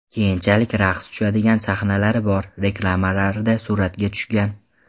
Keyinchalik raqs tushadigan sahnalari bor reklamalarda suratga tushgan.